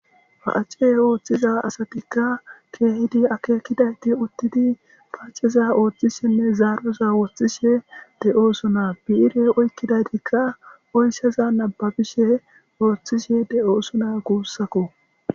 ha7ace ooththiza asatikka keehidi akeekidayti uttidi pacceza ooththi shenne zaaroza wooththishe de7oosona biire oykkidaytikka oyssaza nababishe wooththishe de7oosona kuussako